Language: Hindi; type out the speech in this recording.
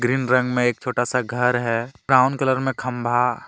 ग्रीन रंग में एक छोटा सा घर है ब्राउन कलर में खंभा --